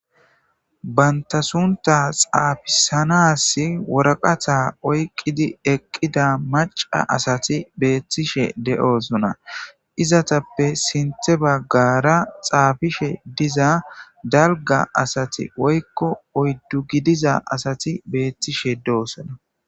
Banta sunta xaafisanas woraqata oyqqidi eqqida maca asati beettishe de7osona izatappe sinthe baggara xaafishe diza dalga asati woykko oyddu gidiza asati beettishe doosana.